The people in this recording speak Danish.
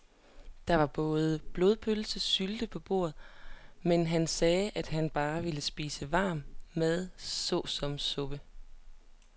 Der var både blodpølse og sylte på bordet, men han sagde, at han bare ville spise varm mad såsom suppe.